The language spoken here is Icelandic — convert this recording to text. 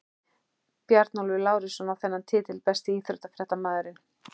Bjarnólfur Lárusson á þennan titil Besti íþróttafréttamaðurinn?